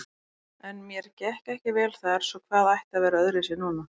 En mér gekk ekki vel þar, svo hvað ætti að vera öðruvísi núna?